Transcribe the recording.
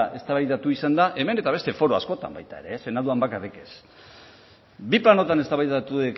eztabaidatu izan da hemen eta beste foro askotan baita ere senatuan bakarrik ez bi planotan eztabaidatu